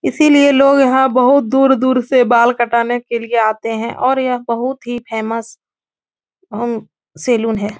इसीलिए लोग यहाँ बहुत दूर दूर से बाल कटाने के लिए आते हैं और यह बहुत ही फेमस हम्म सैलून है।